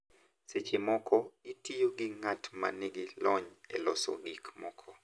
Seche moko, itiyo gi ng’at ma nigi lony e loso gik moko,